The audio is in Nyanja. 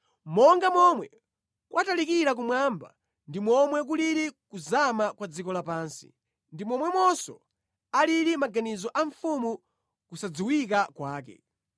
Monga momwe kwatalikira kumwamba ndi momwe kulili kuzama kwa dziko lapansi, ndi momwemonso alili maganizo a mfumu kusadziwika kwake.